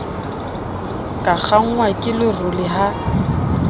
ka kgangwa ke lerole ha